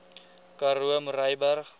karoo murrayburg